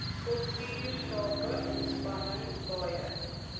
kultuursake ontspanning paaie